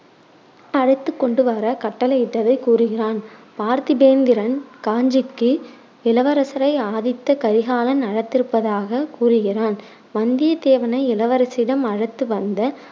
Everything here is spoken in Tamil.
அழைத்துக் கொண்டு வர கட்டளையிட்டதை கூறுகிறான். பார்த்திபேந்திரன் காஞ்சிக்கு இளவரசரை ஆதித்த கரிகாலன் அழைத்திருப்பதாகக் கூறுகிறான். வந்தியத்தேவனை இளவரசியிடம் அழைத்து வந்த